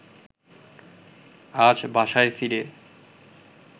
আজ বাসায় ফিরে